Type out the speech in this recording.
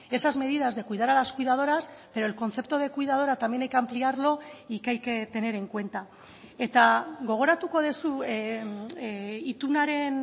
esas medidas de cuidar a las cuidadoras pero el concepto de cuidadora también hay que ampliarlo y que hay que tener en cuenta eta gogoratuko duzu itunaren